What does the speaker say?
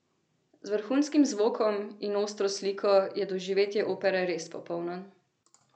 Z vrhunskim zvokom in ostro sliko je doživetje opere res popolno!